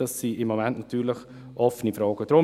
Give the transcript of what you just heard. – Dies sind offene Fragen.